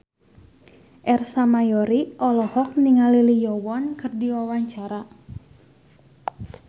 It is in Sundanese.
Ersa Mayori olohok ningali Lee Yo Won keur diwawancara